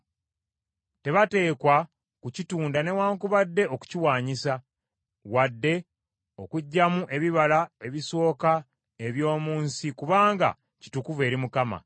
Tebateekwa kukitunda newaakubadde okukiwaanyisa; wadde okuggyamu ebibala ebisooka eby’omu nsi kubanga kitukuvu eri Mukama .